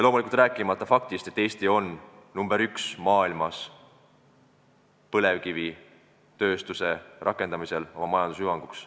Rääkimata faktist, et Eesti on maailmas põlevkivitööstuse oma majanduse hüvanguks rakendamise poolest nr 1.